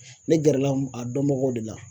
Ne gɛrɛla a dɔnbagaw de la